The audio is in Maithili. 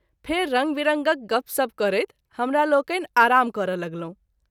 फेरि रंग विरंगक गप्प सप्प करैत हमरालोकनि आराम कर’ लगलहुँ।